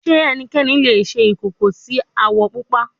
Ṣe ẹnikan le ṣe ikoko ti awọ pupa